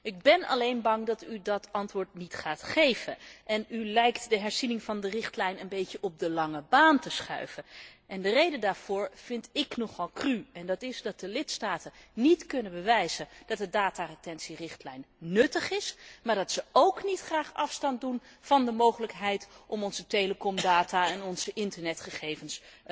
Ik ben alleen bang dat u dat antwoord niet gaat geven, en u lijkt de herziening van de richtlijn een beetje op de lange baan te schuiven. De reden daarvoor vind ik nogal cru, namelijk dat de lidstaten niet kunnen bewijzen dat de dataretentierichtlijn nuttig is, maar dat zij ook niet graag afstand doen van de mogelijkheid om onze telecomdata en onze internetgegevens